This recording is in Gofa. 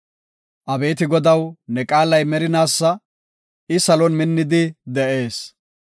Abeeti Godaw, ne qaalay merinaasa; I salon minnidi de7ees.